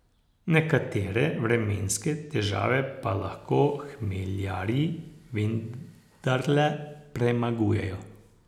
Nekatere vremenske težave pa lahko hmeljarji vendarle premagujejo.